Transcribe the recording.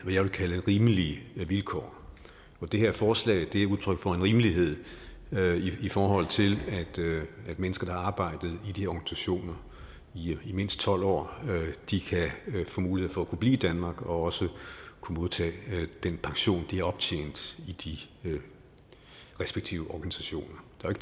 jeg vil kalde rimelige vilkår det her forslag er udtryk for en rimelighed i forhold til at mennesker der har arbejdet i de her organisationer i mindst tolv år kan få mulighed for at blive i danmark og også modtage den pension de har optjent i de respektive organisationer der er